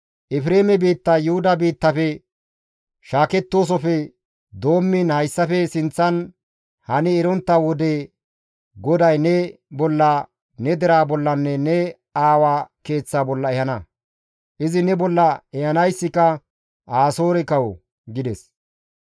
«Efreeme biittay Yuhuda biittafe shaakettoosofe doommiin hayssafe sinththan hani erontta wode GODAY ne bolla, ne deraa bollanne ne aawaa keeththa bolla ehana; izi ne bolla ehanayssika Asoore kawo» gides.